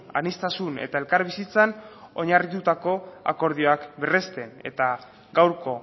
aniztasun eta elkarbizitzan oinarritutako akordioak berresten eta gaurko